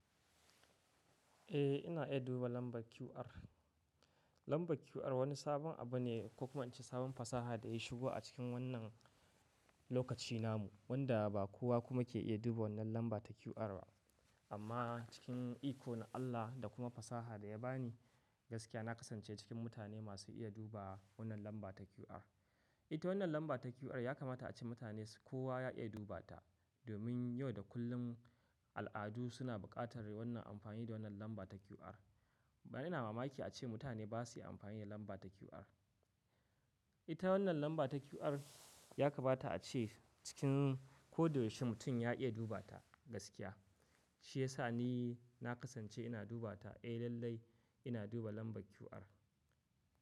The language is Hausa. Eh, ina iya duba lambar QR. Lambar QR wani sabon abu ne ko kuma ice sabon fasaha da ya shigo a cikin wannan lokaci namu, wanda ba kowa kuma ke iya duba wannan lamba ta QR ba. Amma cikin iko na Allah da kuma fasaha da ya bani gaskiya, na kasance cikin mutane masu iya duba wannan lamba ta QR. Ita wannan lamba ta QR ya kamata a ce mutane kowa ya iya dubata, domin yau da kullum al'adu suna buƙatar wannan amfani da wannan lamba ta QR. Ba ina mamaki a ce mutane ba su iya amfani da lamba ta QR. Ita wannan lamba ta QR ya kamata a ce cikin ko da yaushe mutum ya iya dubata gaskiya. Shi yasa ni na kasance ina dubata. Eh, lallai ina duba lamba QR.